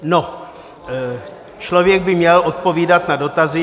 No, člověk by měl odpovídat na dotazy.